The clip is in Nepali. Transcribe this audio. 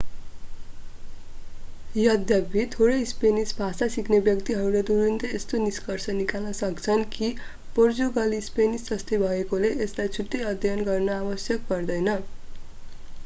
यद्यपि थोरै स्पेनिस भाषा सिक्ने व्यक्तिहरूले तुरुन्तै यस्तो निष्कर्ष निकाल्न सक्छन् कि पोर्तुगाली स्पेनिस जस्तै भएकाले यसलाई छुट्टै अध्ययन गर्न आवश्यक पर्दैन